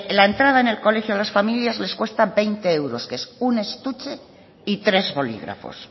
la entrada en el colegio a las familias les cuesta veinte euros que es un estuche y tres bolígrafos